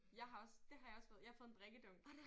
Jeg har også det har jeg også fået jeg har fået en drikkedunk